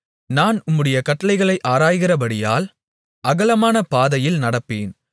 நான் உம்முடைய கட்டளைகளை ஆராய்கிறபடியால் அகலமான பாதையில் நடப்பேன்